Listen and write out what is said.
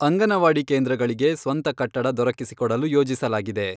ಅಂಗನವಾಡಿ ಕೇಂದ್ರಗಳಿಗೆ ಸ್ವಂತ ಕಟ್ಟಡ ದೊರಕಿಸಿಕೊಡಲು ಯೋಜಿಸಲಾಗಿದೆ.